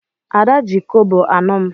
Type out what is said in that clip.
Ada ji kobo anọ m.